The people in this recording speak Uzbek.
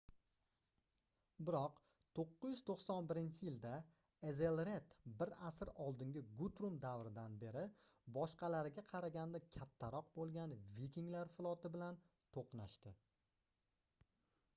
biroq 991-yilda ezelred bir asr oldingi gutrum davridan beri boshqalariga qaraganda kattaroq boʻlgan vikinglar floti bilan toʻqnashdi